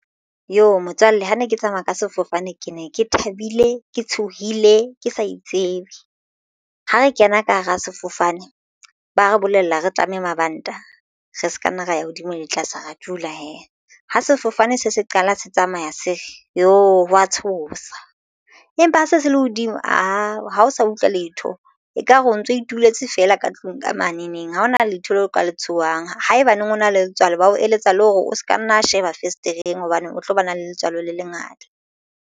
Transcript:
Motswalle ha ne ke tsamaya ka sefofane, ke ne ke thabile ke tshohile ke sa itsebe. Ha re kena ka hara sefofane ba re bolella re tlameha mabanta re se ka nna ra ya hodimo le tlase ra dula hee. Ha sefofane se se qala se tsamaya se ho wa tshosa empa ha se se lehodimo aa ha o sa utlwe letho ekare o ntso ituletse fela ka tlung ka mane neng ha hona letho leo ka le tshohang. Haebaneng o na le letswalo bao eletsa le hore o se ka nna sheba fesetereng hobane o tlo ba na le letswalo le lengata.